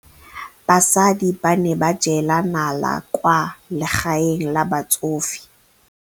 Basadi ba ne ba jela nala kwaa legaeng la batsofe.